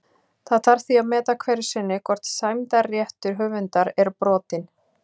Það þarf því að meta hverju sinni hvort sæmdarréttur höfundar er brotinn.